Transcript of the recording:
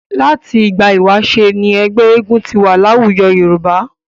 Láti ìgbà ìwáṣẹ̀ ni ẹgbẹ́ eégún ti wà láwùjọ Yorùbá.